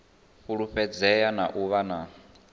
fulufhedzea na u vha na